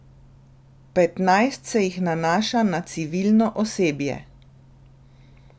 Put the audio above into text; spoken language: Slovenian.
Petnajst se jih nanaša na civilno osebje.